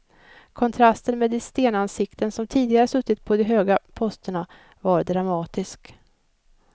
Kontrasten med de stenansikten som tidigare suttit på de höga posterna var dramatisk.